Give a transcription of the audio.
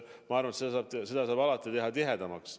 Ma arvan, et seda saab alati teha tihedamaks.